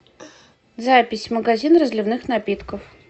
запись магазин разливных напитков